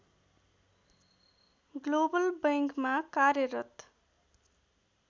global बैंकमा कार्यरत